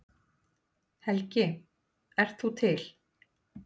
Helgi: En þú ert til?